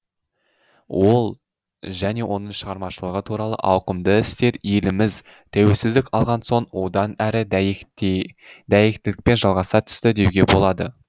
ол және оның шығармашылығы туралы ауқымды істер еліміз тәуелсіздік алған соң одан әрі дәйектілікпен жалғаса түсті деуге болады